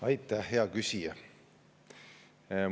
Aitäh, hea küsija!